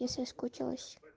я соскучилась